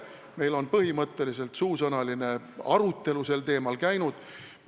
Meil on põhimõtteliselt suusõnaline arutelu sel teemal käinud.